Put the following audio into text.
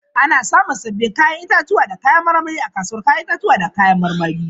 Ana samun sabbin 'ya'yan itatuwa da kayan marmari a kasuwar 'ya'yan itatuwa da kayan marmari.